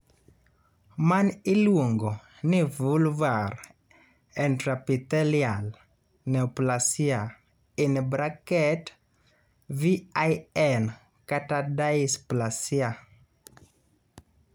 Mani iluongo ni vulvar intraepithelial neoplasia (VIN), kata dysplasia.